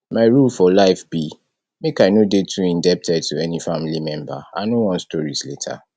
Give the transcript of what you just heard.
my rule for life be make i no dey too indebted to any family member i no want stories later